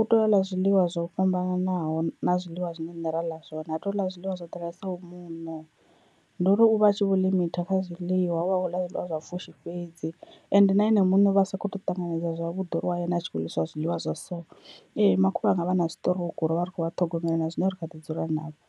u tea u ḽa zwiḽiwa zwo fhambananaho na zwiḽiwa zwine rine ra ḽa zwone, ha tei u ḽa zwiḽiwa zwo ḓalesaho muṋo ndi uri u vha a tshi vho limiter kha zwiḽiwa, uvha a kho ḽa zwiḽiwa zwa pfushi fhedzi, ende na ene muṋe u vha a sa kho to ṱanganedza zwavhuḓi uri why ene a tshi kho u ḽisiwa zwiḽiwa zwa so. Ee makhulu anga vha na siṱirouku rovha rikho vha ṱhogomela na zwino ri kha ḓi dzula navho.